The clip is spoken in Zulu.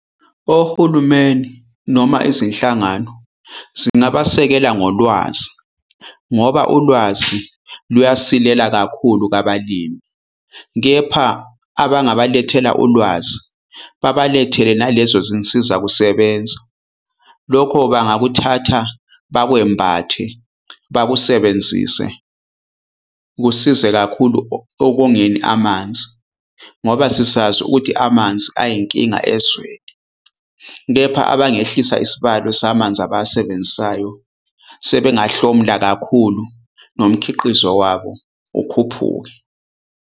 Ohulumeni noma izinhlangano zingabasekela ngolwazi ngoba ulwazi luyasilela kakhulu abalimi. Kepha abangabalethela ulwazi babalethele nalezo zinsiza kusebenza. Lokho bangakuthatha bakwembathe bakusebenzise kusize kakhulu okongeni amanzi, ngoba sisazi ukuthi amanzi ayinkinga ezweni. Kepha abangehlisa isibalo samanzi abawasebenzisayo sebengahlomula kakhulu nomkhiqizo wabo ukhuphuke.